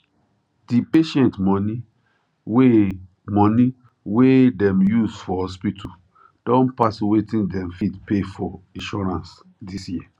di patient money wey money wey dem use for hospital don pass wetin dem fit pay for insurance dis year